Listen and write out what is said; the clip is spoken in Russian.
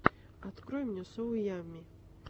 открой мне соу ямми